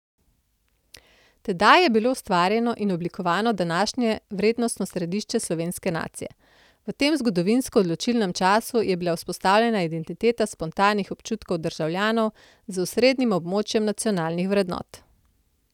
Tedaj je bilo ustvarjeno in oblikovano današnje vrednostno središče slovenske nacije, v tem zgodovinsko odločilnem času je bila vzpostavljena identiteta spontanih občutkov državljanov z osrednjim območjem nacionalnih vrednot.